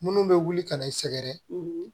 Munnu bɛ wuli ka na i sɛgɛrɛ